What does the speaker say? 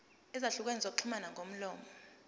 ezahlukene zokuxhumana ngomlomo